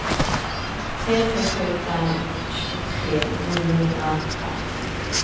tre tre sju fem tjugotre niohundraarton